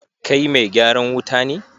Kai mai gyaran wuta ne?